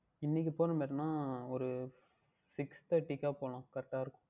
இன்றைக்கு போகட்டும் இல்லை என்றால் ஓர் Six Thirty க்கா போகலாம் Correct அஹ் இருக்கும்